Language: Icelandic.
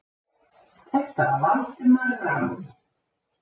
Þetta var Valdimar rann